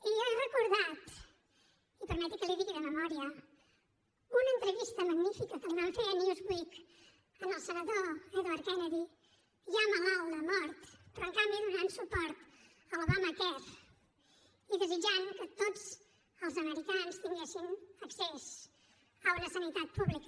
i jo he recordat i permeti’m que l’hi digui de memòria una entrevista magnífica que li van fer a newsweeken canvi donant suport a l’obamacare i desitjant que tots els americans tinguessin accés a una sanitat pública